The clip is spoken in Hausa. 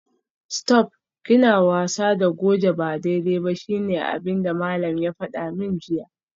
Stop!, kina wasa da goje ba daidai ba shine abinda malam ya fada min jiya